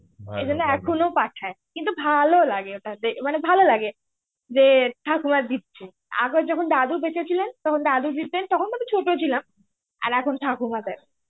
সেইজন্যে এখনো পাঠায়. কিন্তু ভালো লাগে ওটাতে. মানে ভালো লাগে. যে ঠাকুমা দিচ্ছে. আগে যখন দাদু বেঁচেছিলেন তখন দাদু দিতেন, তখন আমি ছোটো ছিলাম. আর এখন ঠাকুমা দেয়.